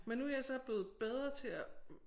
Men nu jeg så blevet bedre til at